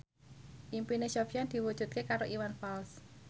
impine Sofyan diwujudke karo Iwan Fals